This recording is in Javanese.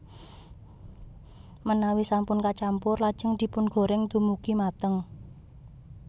Menawi sampun kacampur lajeng dipungoreng dumugi mateng